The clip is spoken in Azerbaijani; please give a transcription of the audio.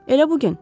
Elə bu gün.